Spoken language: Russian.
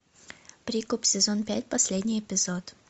прикуп сезон пять последний эпизод